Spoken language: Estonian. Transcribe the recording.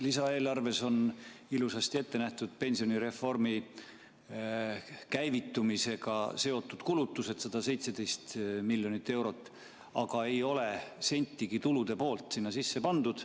Lisaeelarves on ilusasti ette nähtud pensionireformi käivitumisega seotud kulutused, 117 miljonit eurot, aga ei ole sentigi tulude poolt sisse pandud.